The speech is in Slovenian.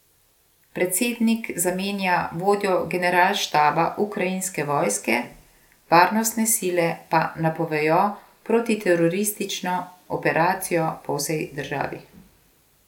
Predsednik zamenja vodjo generalštaba ukrajinske vojske, varnostne sile pa napovejo protiteroristično operacijo po vsej državi.